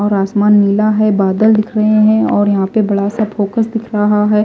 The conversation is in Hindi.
और असमान नीला है बादल दिख रहे है और यहाँ पर बड़ा सा फोकस दिख रहे है।